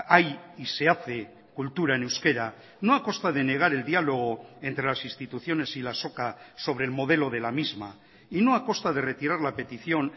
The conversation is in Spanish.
hay y se hace cultura en euskera no a costa de negar el diálogo entre las instituciones y la azoka sobre el modelo de la misma y no a costa de retirar la petición